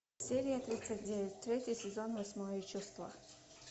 серия тридцать девять третий сезон восьмое чувство